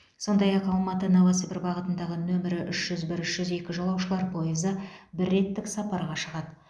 сондай ақ алматы новосібір бағытындағы нөмірі үш жүз бір үш жүз екі жолаушылар пойызы бір реттік сапарға шығады